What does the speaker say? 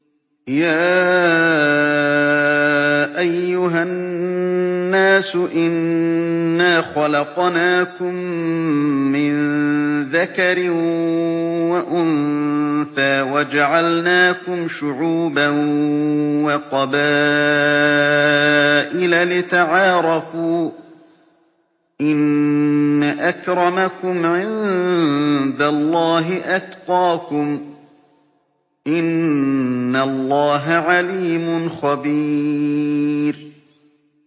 يَا أَيُّهَا النَّاسُ إِنَّا خَلَقْنَاكُم مِّن ذَكَرٍ وَأُنثَىٰ وَجَعَلْنَاكُمْ شُعُوبًا وَقَبَائِلَ لِتَعَارَفُوا ۚ إِنَّ أَكْرَمَكُمْ عِندَ اللَّهِ أَتْقَاكُمْ ۚ إِنَّ اللَّهَ عَلِيمٌ خَبِيرٌ